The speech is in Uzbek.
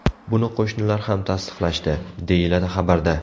Buni qo‘shnilar ham tasdiqlashdi”, deyiladi xabarda.